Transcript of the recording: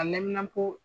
A lamini ko